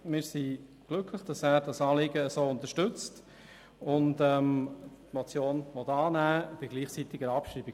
Wir sind glücklich, dass er das Anliegen unterstützt und die Motion annehmen und gleichzeitig abschreiben will.